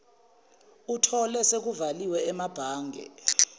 etholwe sekuvaliwe emabhange